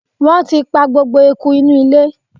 Wọ́n ti pa gbogbo eku inú ilé.